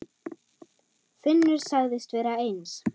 Finnur sagðist vera eins.